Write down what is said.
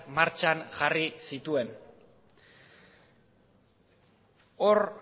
martxan jarri zituen hor